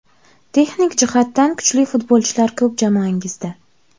Texnik jihatdan kuchli futbolchilar ko‘p jamoangizda.